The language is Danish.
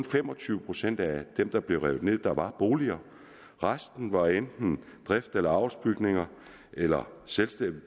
fem og tyve procent af de der blev revet ned der var boliger resten var enten drifts eller avlsbygninger eller selvstændige